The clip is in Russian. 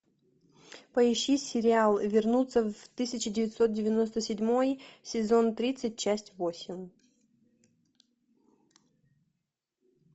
поищи сериал вернуться в тысяча девятьсот девяносто седьмой сезон тридцать часть восемь